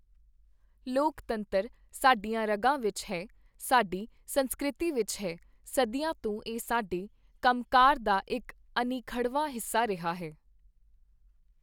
ਲੋਕਤੰਤਰ ਸਾਡੀਆਂ ਰਗ਼ਾਂ ਵਿਚ ਹੈ, ਸਾਡੀ ਸੰਸਕ੍ਰਿਤੀ ਵਿਚ ਹੈ, ਸਦੀਆਂ ਤੋਂ ਇਹ ਸਾਡੇ ਕੰਮਕਾਰ ਦਾ ਇੱਕ ਅਨਿੱਖੜ੍ਹਵਾਂ ਹਿੱਸਾ ਰਿਹਾ ਹੈ।